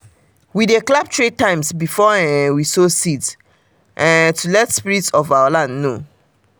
we dey clap three times before um we sow seeds um to let spirit of our land know.